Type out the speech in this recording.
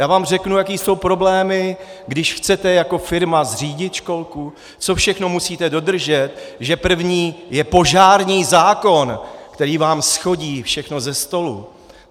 Já vám řeknu, jaké jsou problémy, když chcete jako firma zřídit školku, co všechno musíte dodržet, že první je požární zákon, který vám shodí všechno ze stolu.